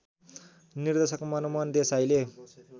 निर्देशक मनमोहन देसाईले